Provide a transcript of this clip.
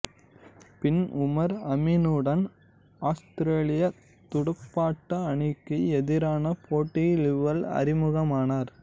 பின் உமர் அமினுடன் ஆத்திரேலியத் துடுப்பாட்ட அணிக்கு எதிரான போட்டியில் இவர் அறிமுகமானார்